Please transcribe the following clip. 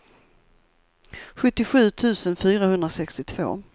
sjuttiosju tusen fyrahundrasextiotvå